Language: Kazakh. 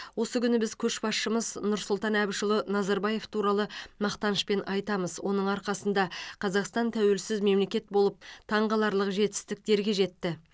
осы күні біз көшбасшымыз нұрсұлтан әбішұлы назарбаев туралы мақтанышпен айтамыз оның арқасында қазақстан тәуелсіз мемелекет болып таңқаларлық жетістіктерге жетті